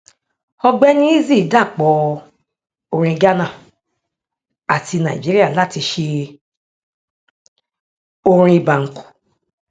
ọgbẹni eazi dàpọ orin ghánà àti nàìjíríà láti ṣe orin banku